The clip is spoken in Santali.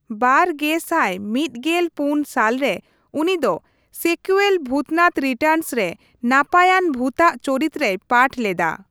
᱒᱐᱑᱔ ᱥᱟᱞ ᱨᱮ ᱩᱱᱤ ᱫᱚ ᱥᱮᱠᱩᱭᱮᱞ 'ᱵᱷᱩᱛᱱᱟᱛᱷ ᱨᱤᱴᱟᱨᱱᱥ'ᱼᱨᱮ ᱱᱟᱯᱟᱭᱟᱱ ᱵᱷᱩᱛᱟᱜ ᱪᱚᱨᱤᱛ ᱨᱮᱭ ᱯᱟᱴᱷ ᱞᱮᱫᱟ ᱾